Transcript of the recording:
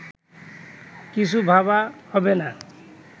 কিছু ভাবা হবেনা